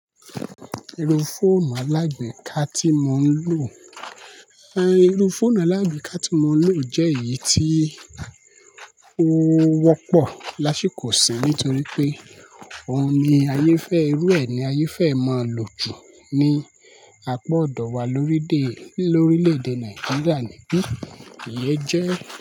Irú fóònù alágbèéká ti mo lo è irú fóònù alágbèéká ti mo lo jè eyi tí ó wópò lásìkò yìí nítorí pé òun ni ayé fẹ́, irú ẹ ni ayé fẹ́ máa lò jù ní àpọ̀ ọ̀dọ̀ wa lórídèè, lórílèèdè Nàìjíríà ni bí iye jẹ́.